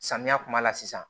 Samiya kuma la sisan